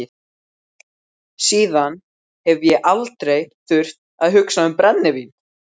Síðan hef ég aldrei þurft að hugsa um brennivín.